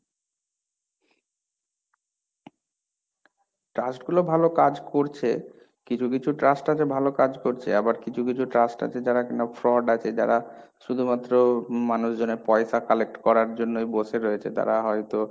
trust গুলো ভালো কাজ করছে, কিছু কিছু trust আছে ভালো কাজ করছে, আবার কিছু কিছু trust আছে যারা কিনা fraud আছে যারা শুধুমাত্র মানুষজনের পয়সা collect করার জন্যই বসে রয়েছে তারা হয়তো,